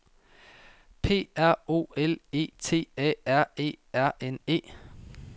P R O L E T A R E R N E